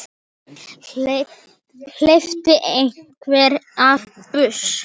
Hleypti einhver af byssu?